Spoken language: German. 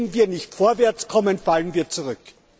Wenn wir nicht vorwärts kommen, fallen wir zurück.